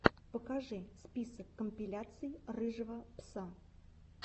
покажи список компиляций рыжего пса